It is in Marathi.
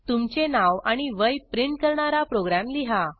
तुमचे नाव आणि वय प्रिंट करणारा प्रोग्रॅम लिहा